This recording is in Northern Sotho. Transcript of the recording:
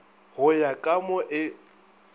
go ya ka mo e